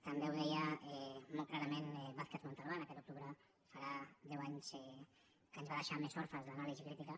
també ho deia molt clarament vázquez montalbán aquest octubre farà deu anys que ens va deixar més orfes d’anàlisi crítica